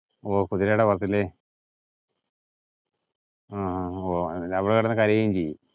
ഓ കുതിരേടെ പുറത്തില്ലേ. ആഹ് അവള് കിടന്നു കരയുകയും ചെയ്യും.